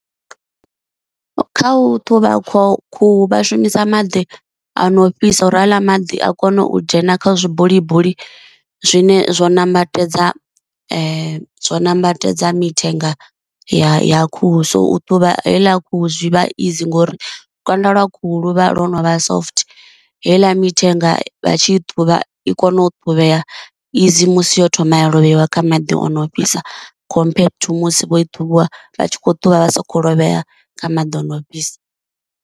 Kha u ṱhuvha khu khuhu vha shumisa maḓi a no fhisa uri haaḽa maḓi a kone u dzhena kha zwi bulibuli zwine zwo nambatedza zwo nambatedza mithenga ya khuhu, so u ṱhuvha heiḽa khuhu zwi vha zwono vha izi ngori lukanda lwa khuhu lu vha lwo no vha soft heiḽa mithenga vha tshi i ṱhuvha i kona u ṱhuvhea izi musi yo thoma ya lovheiwa kha maḓi o no fhisa compared to musi vho i ṱhuvha vha tshi kho ṱhuvha vha sikho lovhea kha maḓi ono fhisa.